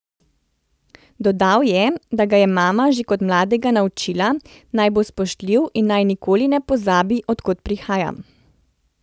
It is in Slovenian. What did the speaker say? Dodal je, da ga je mama že kot mladega naučila, da naj bo spoštljiv in naj nikoli ne pozabi, od kod prihaja.